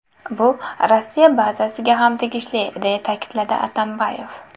Bu Rossiya bazasiga ham tegishli”, deya ta’kidladi Atambayev.